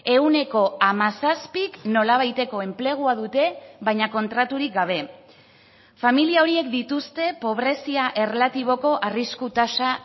ehuneko hamazazpik nolabaiteko enplegua dute baina kontraturik gabe familia horiek dituzte pobrezia erlatiboko arrisku tasa